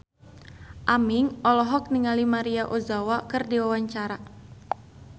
Aming olohok ningali Maria Ozawa keur diwawancara